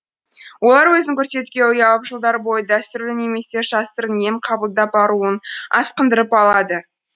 олар өзін көрсетуге ұялып жылдар бойы дәстүрлі немесе жасырын ем қабылдап ауруын асқындырып алады